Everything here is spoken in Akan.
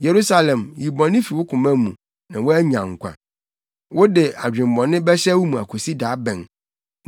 Yerusalem, yi bɔne fi wo koma mu na woanya nkwa. Wode adwemmɔne bɛhyɛ wo mu akosi da bɛn?